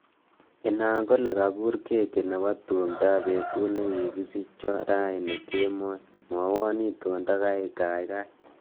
Inaan kole kakur keki nebo tumdoab betut nekikisicho raini kemoi, mwowo itondo kaikai